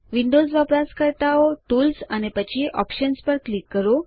Windows વપરાશકર્તાઓ tools અને પછી ઓપ્શન્સ પર ક્લિક કરો